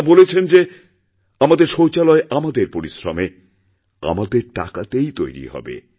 তাঁরা বলেছেনযে আমাদের শৌচালয় আমাদের পরিশ্রমে আমাদের টাকাতেই তৈরি হবে